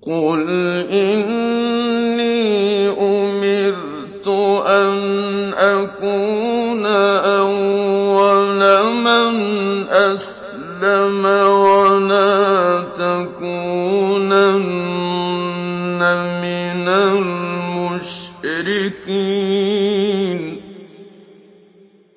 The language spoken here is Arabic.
قُلْ إِنِّي أُمِرْتُ أَنْ أَكُونَ أَوَّلَ مَنْ أَسْلَمَ ۖ وَلَا تَكُونَنَّ مِنَ الْمُشْرِكِينَ